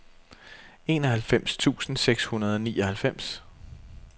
enoghalvfems tusind seks hundrede og nioghalvfems